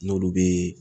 N'olu bee